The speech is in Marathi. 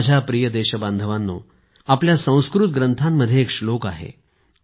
माझ्या प्रिय देशबांधवांनो आपल्या संस्कृत ग्रंथांमध्ये एक श्लोक आहे